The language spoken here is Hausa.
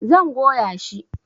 Zan goya shi